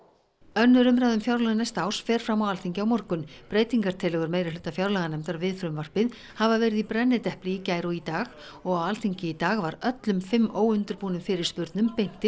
önnur umræða um fjárlög næsta árs fer fram á Alþingi á morgun breytingartillögur meirihluta fjárlaganefndar við frumvarpið hafa verið í brennidepli í gær og í dag og á Alþingi í dag var öllum fimm óundirbúnum fyrirspurnum beint til